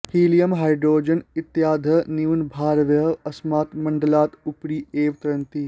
helium hydrogen इत्यादयः न्यूनभारवायवः अस्मात् मण्डलात् उपरि एव तरन्ति